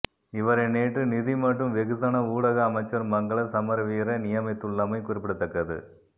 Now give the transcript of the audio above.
இவரை நேற்று நிதி மற்றும் வெகுசன ஊடக அமைச்சர் மங்கள சமரவீர நியமித்துள்ளமை குறிப்பிடத்தக்கது